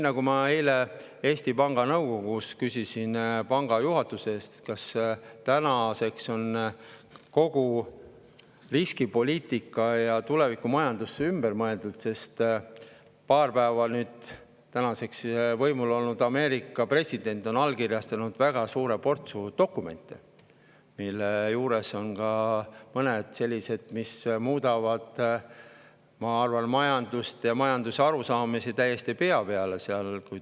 Aga ma eile Eesti Panga nõukogus küsisin panga juhatuse käest, kas tänaseks on kogu riskipoliitika ja tulevikumajandus ümber mõeldud, sest paar päeva võimul olnud Ameerika president on allkirjastanud väga suure portsu dokumente, mille seas on ka mõned sellised, mis, ma arvan, majanduse ja majandusarusaamu seal täiesti pea peale.